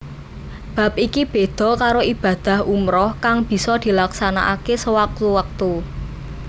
Bab iki béda karo ibadah umrah kang bisa dilaksanakaké sawektu wektu